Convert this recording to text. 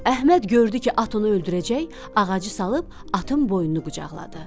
Əhməd gördü ki, at onu öldürəcək, ağacı salıb atın boynunu qucaqladı.